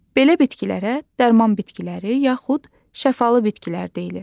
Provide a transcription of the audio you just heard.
Belə bitkilərə dərman bitkiləri yaxud şəfalı bitkilər deyilir.